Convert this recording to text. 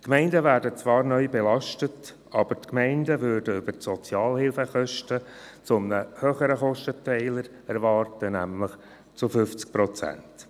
Die Gemeinden werden zwar neu belastet, aber sie können über die Sozialhilfekosten einen höheren Kostenteiler erwarten, nämlich 50 Prozent.